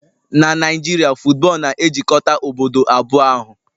Na Naijiria, football na-ejikọta obodo ahụ